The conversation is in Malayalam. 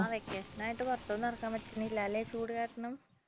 ആ vacation ആയിട്ട് പുറത്തൊന്നും ഇറങ്ങാൻ പറ്റുന്നില്ല അല്ലേ ചൂടുകാരണം